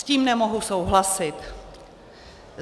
S tím nemohu souhlasit.